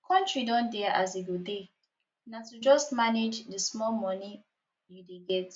country don dey as e go dey na to just dey manage the small money you dey get